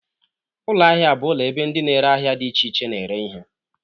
Ụlọ ahịa bụ ụlọ ebe ndị na-ere ahịa dị iche iche na-ere ihe.